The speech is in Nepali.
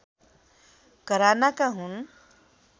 घरानाका हुन्